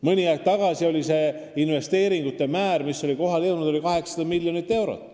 Mõni aeg tagasi oli seni tehtud investeeringute maht 800 miljonit eurot.